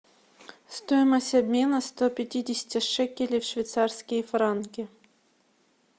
стоимость обмена ста пятидесяти шекелей в швейцарские франки